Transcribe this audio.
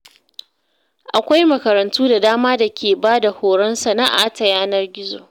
Akwai makarantu da dama da ke ba da horon sana’a ta yanar gizo.